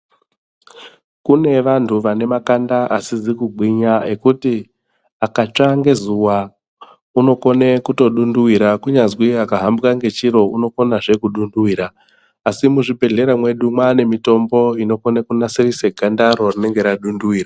Kune vanthu vane makanda asizi kugwinya ekuti akatsva ngezuwa unokone kutodunduwira kunyazwi akahambwa ngechiro unokonazve kudunduvira asi muzvibhedhlera mwedu mwaane mitombo inokone kunasirise gandaro rinenge radunduvira.